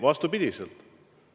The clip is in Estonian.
Vastupidi!